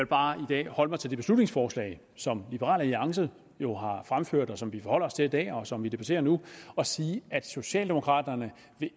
bare i dag holde mig til det beslutningsforslag som liberal alliance jo har fremsat og som vi forholder os til i dag og som vi debatterer nu og sige at socialdemokraterne